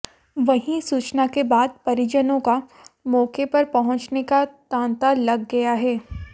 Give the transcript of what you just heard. वहीं सूचना के बाद परिजनों का मौके पर पहुंचने का तांता लग गया है